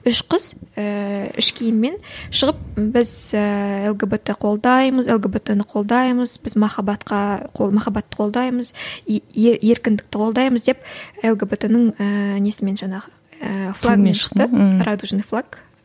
үш қыз ііі іш киіммен шығып біз ііі лгбт қолдаймыз лгбт ні қолдаймыз біз махаббатқа махаббатты қолдаймыз еркіндікті қолдаймыз деп лгбт нің ііі несімен жаңағы ііі флагымен шықты радужный флаг